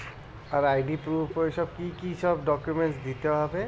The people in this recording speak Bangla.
R I. D. proof ওই সব কি কি সব documents দিতে হবে?